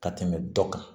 Ka tɛmɛ dɔ kan